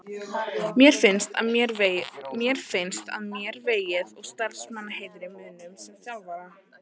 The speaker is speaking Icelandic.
Mér finnst að mér vegið og starfsheiðri mínum sem þjálfara.